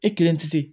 E kelen tɛ se